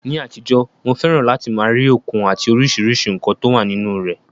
Ní àtijọ́, mo fẹ́ràn láti máa rí òkun àti oríṣiríṣi nǹkan tó wà nínú rẹ̀.